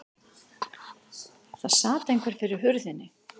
Það sat einhver fyrir hurðinni.